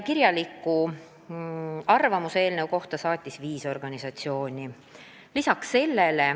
Kirjaliku arvamuse eelnõu kohta saatis viis organisatsiooni.